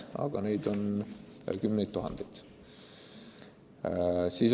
Ent neid on kümneid tuhandeid.